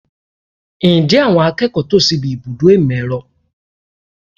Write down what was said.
Ǹjẹ́ àwọn akẹ́kọ̀ọ́ tò síbi ibùdó ìmọ̀ - ẹ̀rọ?